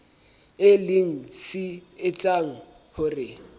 e leng se etsang hore